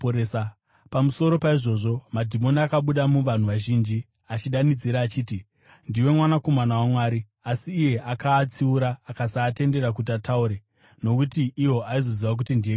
Pamusoro paizvozvo, madhimoni akabuda muvanhu vazhinji, achidanidzira achiti, “Ndiwe Mwanakomana waMwari!” Asi iye akaatsiura akasaatendera kuti ataure, nokuti iwo aiziva kuti ndiye Kristu.